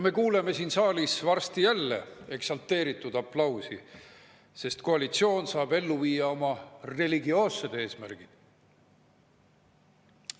Me kuuleme siin saalis varsti jälle eksalteeritud aplausi, sest koalitsioon saab ellu viia oma religioossed eesmärgid.